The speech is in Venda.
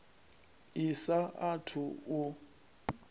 i sa a thu u